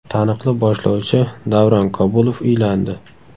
Taniqli boshlovchi Davron Kabulov uylandi.